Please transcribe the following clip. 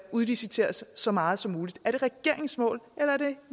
udliciteres så meget som muligt er det regeringens mål eller er det